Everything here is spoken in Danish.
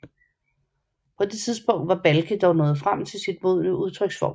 På det tidspunkt var Balke dog nået frem til sin modne udtryksform